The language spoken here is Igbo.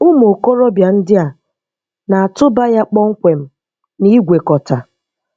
Ụmụ okorobịa ndị a na-atụ́ba ya kpọmkwem n’ìgwèkọtà.